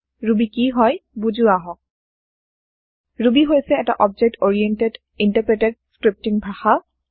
Ruby কি হয় বোজো আহক ৰুবী হৈছে এটা অবজেক্ট অৰিএন্টেদ ইনটাৰপ্ৰেটেদ স্ক্ৰীপতীং ভাষা